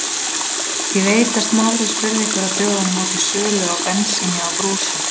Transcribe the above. Ég veit að Smári spurði ykkur á dögunum út í sölu á bensíni á brúsum.